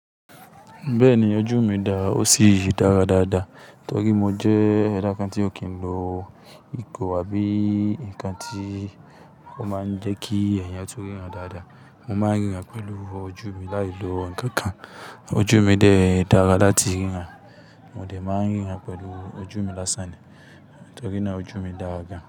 Bẹ́ẹ̀ni, ojú mi dà ó sì dára dáadáa. Tọ́rí mo jẹ́ ẹ̀dà kan tí ò kí n lo ìgò àbí nǹkan tí ó máa ń jẹ́ kí èèyàn tún ríran dáadáa. Mo máa ń ríran pẹ̀lú ojú mi láì lo ǹkankan. Ojú mi dẹ̀ dára láti ríran. Mo dẹ̀ máa ń ríran pẹ̀lú ojú mi lásán ni. Tórí náà ojú mi dàra gán.